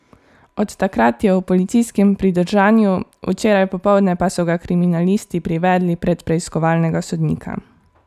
Od takrat je v policijskem pridržanju, včeraj popoldne pa so ga kriminalisti privedli pred preiskovalnega sodnika.